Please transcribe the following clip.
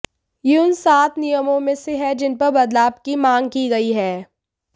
यह उन सात नियमों में से है जिन पर बदलाव की मांग की गई है